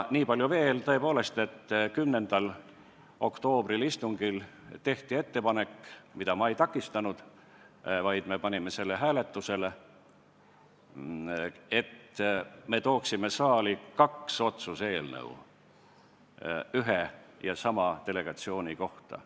Niipalju veel, tõepoolest, et 10. oktoobri istungil tehti ettepanek – ma seda ei takistanud, vaid me panime selle hääletusele –, et me tooksime saali kaks otsuse eelnõu ühe ja sama delegatsiooni kohta.